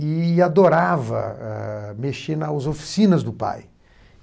e adorava eh mexer nas oficinas do pai.